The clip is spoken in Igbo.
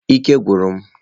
Ike agwụkwara m